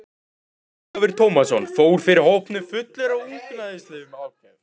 Ólafur Tómasson fór fyrir hópnum fullur af ungæðislegri ákefð.